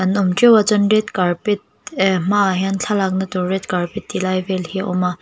an awm teuh a chuan red carpet eeh hma ah hian thlalakna tur red carpet tilai vel hi a awm a.